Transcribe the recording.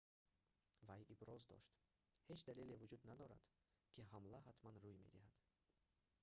вай иброз дошт ҳеҷ далеле вуҷуд надорад ки ҳамла ҳатман рӯуй медиҳад